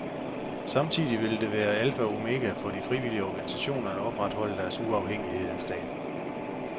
Samtidig vil det være alfa og omega for de frivillige organisationer at opretholde deres uafhængighed af staten.